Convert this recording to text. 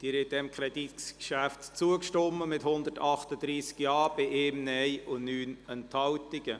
Sie haben diesem Kreditgeschäft zugestimmt, mit 138 Ja-Stimmen bei 1 Nein-Stimme und 9 Enthaltungen.